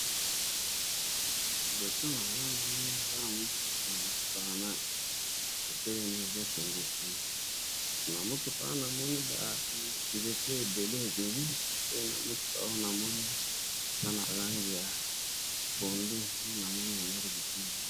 Liboso na nga na moni eza na motuka, motuka wana etelemi ezo kende te. Na sima motuka wana na moni ba nzete ebele ebele pe na motuka oyo namoni eza na ba langi ya pondu namoni yango liboso na nga.